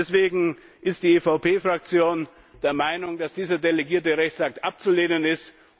Deswegen ist die EVP Fraktion der Meinung, dass dieser delegierte Rechtsakt abzulehnen ist.